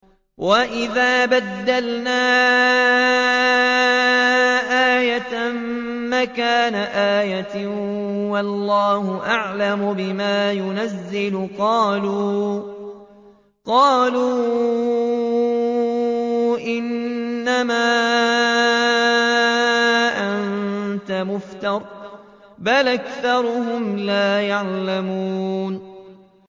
وَإِذَا بَدَّلْنَا آيَةً مَّكَانَ آيَةٍ ۙ وَاللَّهُ أَعْلَمُ بِمَا يُنَزِّلُ قَالُوا إِنَّمَا أَنتَ مُفْتَرٍ ۚ بَلْ أَكْثَرُهُمْ لَا يَعْلَمُونَ